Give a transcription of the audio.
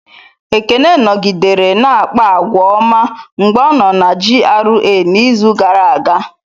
Ekene nọgidere na-akpa àgwà ọma mgbe ọ nọ na GRA n'izu gara aga.